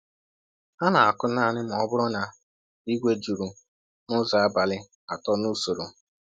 Ha na-akụ naanị ma ọ bụrụ na igwe juru n’ụzọ abalị atọ n’usoro.